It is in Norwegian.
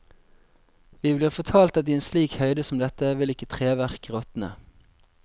Vi blir fortalt at i en slik høyde som dette vil ikke treverk råtne.